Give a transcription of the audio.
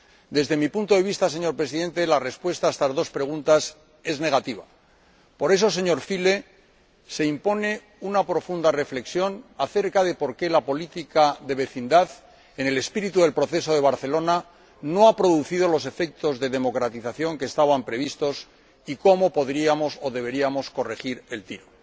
Desde mi punto de vista, señor Presidente, la respuesta a estas dos preguntas es negativa. Por eso, señor Füle, se impone una profunda reflexión acerca de por qué la política de vecindad, en el espíritu del Proceso de Barcelona, no ha producido los efectos de democratización que estaban previstos y cómo podríamos o deberíamos corregir el tiro.